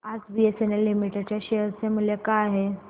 आज BCL limited च्या share चे मूल्य काय आहे